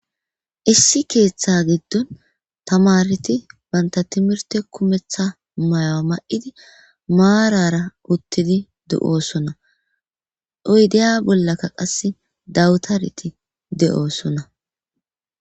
Issi keeththa giddon tamariti banta timirte kumetha mayoa ma'idi maarara uttidi de'oosona iydeya bollakka qas dawutariti de'oosona.